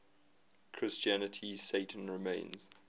christianity satan remains